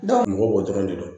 mɔgɔ bɔ dɔrɔn de don